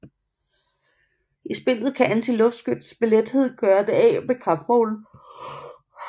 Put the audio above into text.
I spillet kan antiluftskyts med lethed gøre det af med kampvogne